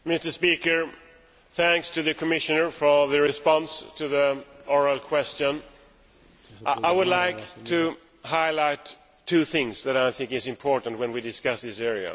Mr President, I thank the Commissioner for her response to the oral question. I would like to highlight two things that I think are important when we discuss this area.